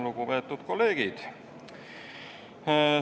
Lugupeetud kolleegid!